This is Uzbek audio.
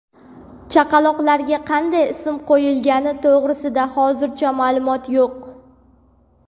Chaqaloqlarga qanday ism qo‘yilgani to‘g‘risida hozircha ma’lumot yo‘q.